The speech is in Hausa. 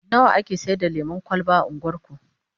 nawa ake Saida lemun kwalba a unguwarku?